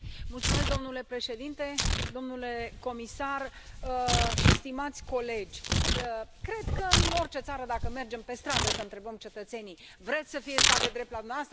Domnule președinte, domnule comisar și stimați colegi, cred că în orice țară dacă mergem pe stradă să întrebăm cetățenii vreți să fie stat de drept la dumneavoastră?